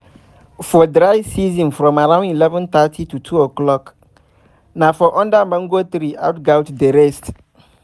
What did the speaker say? for dry season from around eleven thirty to two o'clock na for under mango tree out goats dey rest